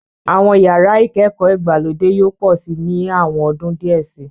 Àwọn yàrá ìkẹ́kọ̀ọ́ ìgbàlódé yóò pọ̀ síi ní àwọn ọdún díẹ̀ síi.